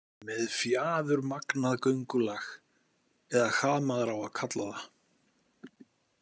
Með fjaðurmagnað göngulag eða hvað maður á að kalla það.